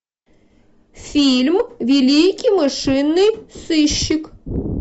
фильм великий мышиный сыщик